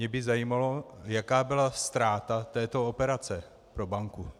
Mě by zajímalo, jaká byla ztráta této operace pro banku.